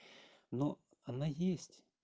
но она есть